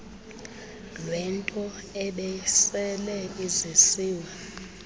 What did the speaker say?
lwento ebisele izisiwe